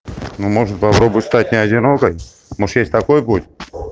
ну можно попробовать стать не одинокой может есть такой путь